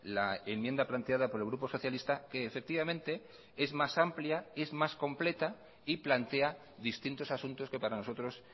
la enmienda planteada por el grupo socialista que efectivamente es más amplia es más completa y plantea distintos asuntos que para nosotros